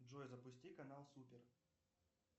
джой запусти канал супер